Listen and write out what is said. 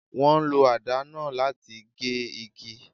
Wọ́n ń lo àdá náà láti gé igi.